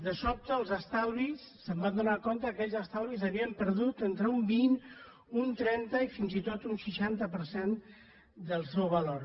de sobte es van adonar que aquells estalvis havien perdut entre un vint un trenta i fins i tot un seixanta per cent del seu valor